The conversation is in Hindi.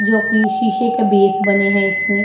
जो की शीशे के बेस बने हैं इसमें।